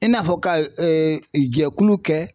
I n'a fɔ ka ɛɛ jɛkulu kɛ